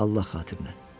Allah xatirinə!